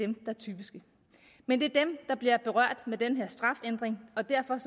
der er typiske men det er dem der bliver berørt med den her strafændring og derfor